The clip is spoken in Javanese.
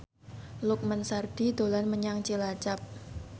Lukman Sardi dolan menyang Cilacap